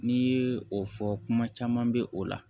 N'i ye o fɔ kuma caman bɛ o la